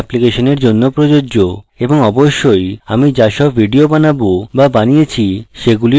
এবং অবশ্যই আমি যা সব videos বানাবো বা বানিয়েছি সেগুলির জন্যও প্রযোজ্য